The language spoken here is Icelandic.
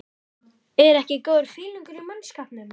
ER EKKI GÓÐUR FÍLINGUR Í MANNSKAPNUM?